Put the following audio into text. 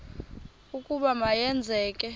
ukuba ma yenzeke